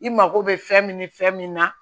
I mago bɛ fɛn min ni fɛn min na